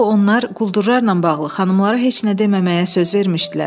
Axı onlar quldurlarla bağlı xanımlara heç nə deməməyə söz vermişdilər.